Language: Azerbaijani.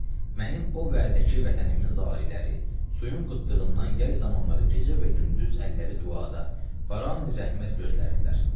Mənim o vədəki vətənimin zariləri suyun qıtlığından yay zamanları gecə və gündüz əlləri duada, barani rəhmət gözlərdilər.